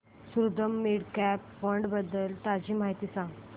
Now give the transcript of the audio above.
Sundaram mid cap fund बद्दल ताजी माहिती सांग